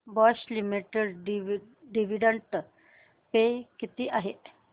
Bosch limited dividend pay किती आहे